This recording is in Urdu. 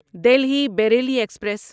دلہی بیریلی ایکسپریس